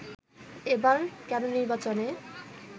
এবার কেন নির্বাচনে